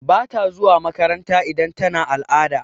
Bata zuwa makaranta idan tana al'ada.